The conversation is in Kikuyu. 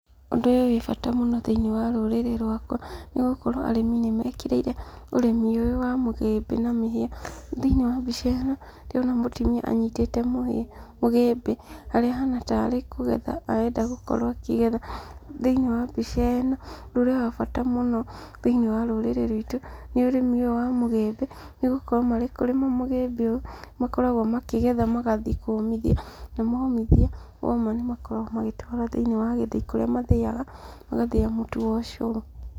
Ũndũ ũyũ wĩbata mũno thĩinĩ wa rũrĩrĩ rwakwa, nĩgũkorwo arĩmi nĩmekĩrĩire ũrĩmi ũyũ wa mũgĩmbĩ na mũhĩa. Thĩinĩ wa mbica ĩno, ndĩrona mũtumia anyitĩte mũhĩa, mũgĩmbĩ, harĩa ahana ta arĩ kũgetha arenda gũkorwo akĩgetha. Thĩinĩ wa mbica ĩno, ũndũ ũrĩa wa bata mũno thĩinĩ wa rũrĩrĩ ruitũ, nĩ ũrĩmi ũyũ wa mũgĩmbĩ, nĩgũkorwo marĩ kũrĩma mũgĩmbĩ, makoragwo makĩgetha magathiĩ kũmithia, na momithia, woma nĩmakoragwo magĩtwara thĩinĩ wa gĩthĩi kũrĩa mathĩaga, magathĩa mũtu wa ũcũrũ.